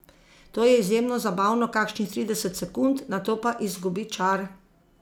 To je izjemno zabavno kakšnih trideset sekund, nato pa izgubi čar.